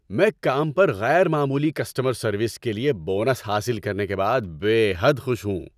میں کام پر غیر معمولی کسٹمر سروس کے لیے بونس حاصل کرنے کے بعد بے حد خوش ہوں۔